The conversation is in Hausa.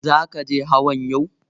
Zaka je hawan yau?